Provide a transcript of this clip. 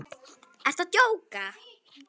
Ertu að djóka!?